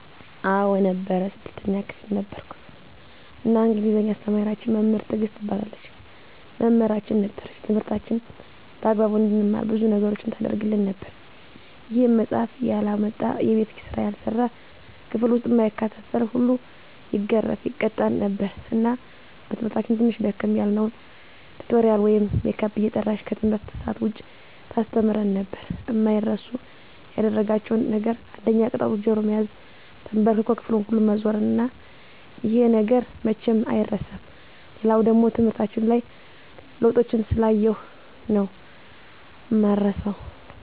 አዎ ነበር 6ተኛ ክፍል ነበርኩ እና እንግሊዝ አስተማሪያችን መምህር ትግስት ትባላለች መምህራችን ነበረች ትምህርታችንን በአግባቡ እንድንማር ብዙ ነገሮችን ታረግልን ነበር ይሄም መፃሐፍ ያላመጣ፣ የቤት ስራ ያልሰራ፣ ክፍል ዉስጥ እማይከታተል ሁሉ ይገረፍ( ይቀጣ ) ነበር እና በትምህርታችን ትንሽ ደከም ያልነዉን ቲቶሪያል ወይም ሜካፕ እየጠራች ከትምህርት ሰአት ዉጭ ታስተምረን ነበር። አማይረሱ ያደረጋቸዉ ነገር አንደኛ ቅጣቱ ጆሮ መያዝ፣ ተንበርክኮ ክፍሉን ሁሉ መዞር እና ይሄ ነገር መቼም አይረሳም። ሌላኛዉ ደሞ ትምህርታችን ላይ ለዉጦችን ስላየሁ ነዉ እማረሳዉ።